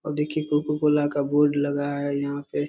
और देखिये कोको-कोला का बोर्ड लगा है यहाँ पे।